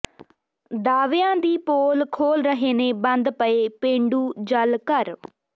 ਦਾਅਵਿਆਂ ਦੀ ਪੋਲ ਖੋਲ੍ਹ ਰਹੇ ਨੇ ਬੰਦ ਪਏ ਪੇਂਡੂ ਜਲ ਘਰ